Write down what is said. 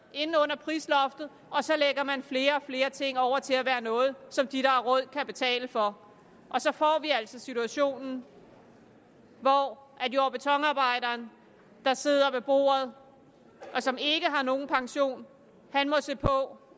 ind under prisloftet og så lægger man flere og flere ting over til at være noget som de der har råd kan betale for og så får vi altså situationen hvor jord og betonarbejderen der sidder ved bordet og som ikke har nogen pension må se på